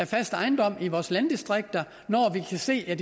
fast ejendom i vores landdistrikter når vi kan se at